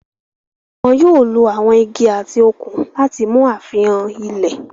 Wọ́n yóò lo àwon igi àti òkun láti mú àfihàn ilẹ̀.